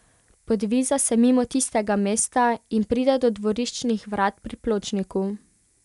Podviza se mimo tistega mesta in pride do dvoriščnih vrat pri pločniku.